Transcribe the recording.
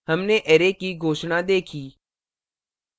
हमने array की घोषणा देखी